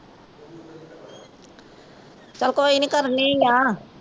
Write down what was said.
ਚਲੋ ਕੋਈ ਨਹੀ ਕਰਨੀ ਆ।